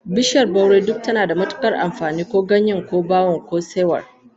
Bishiyar baure duk tana da matukar amfani, ko ganyen, ko bawon, ko saiwar.